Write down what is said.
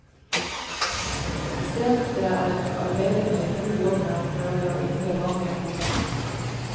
Isteden er arbeiderne i full jobb med å prøve å hindre vann i å komme inn.